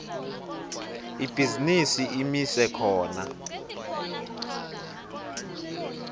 ibhizinisi imise khona